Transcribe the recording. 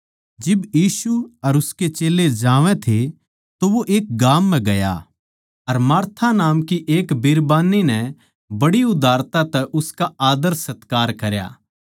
जिब यीशु अर उसके चेल्लें जावै थे तो वो एक गाम म्ह गया अर मार्था नाम की एक बिरबान्नी नै बड़ी उदारता तै उसका आदर सत्कार करया